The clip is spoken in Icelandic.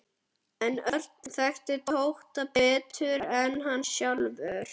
En Örn þekkti Tóta betur en hann sjálfur.